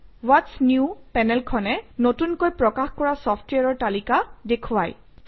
what's new পেনেলখনে নতুনকৈ প্ৰকাশ কৰা চফট্ৱেৰৰ তালিকা দেখুৱায়